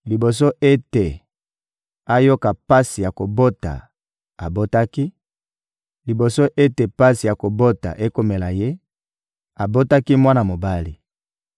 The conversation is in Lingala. Liboso ete ayoka pasi ya kobota, abotaki; liboso ete pasi ya kobota ekomela ye, abotaki mwana mobali.